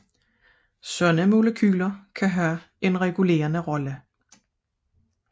Sådanne molekyler kan have en regulerende rolle